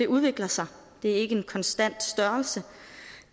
udvikler sig det er ikke en konstant størrelse